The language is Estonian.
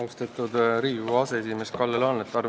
Austatud Riigikogu aseesimees Kalle Laanet!